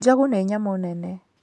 Njogu nĩ nyamũ nene.